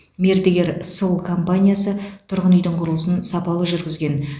мердігер сыл компаниясы тұрғын үйдің құрылысын сапалы жүргізген